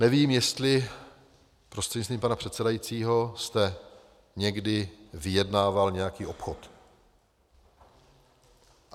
Nevím, jestli prostřednictvím pana předsedajícího jste někdy vyjednával nějaký obchod.